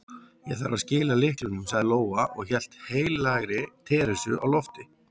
Ég þarf að skila lyklunum, sagði Lóa og hélt heilagri Teresu á lofti.